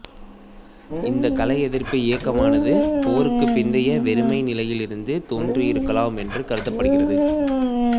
இந்த கலை எதிர்ப்பு இயக்கமானது போருக்கு பிந்தைய வெறுமை நிலையிலிருந்து தோன்றியிருக்கலாம் என்று கருதப்படுகிறது